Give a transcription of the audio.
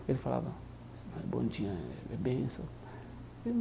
Ele falava, bom dia, benção.